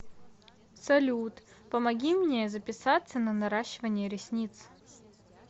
салют помоги мне записаться на наращивание ресниц